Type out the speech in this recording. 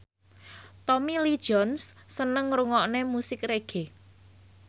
Tommy Lee Jones seneng ngrungokne musik reggae